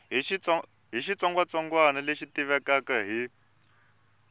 hi xitsongwatsongwana lexi tivekaka hi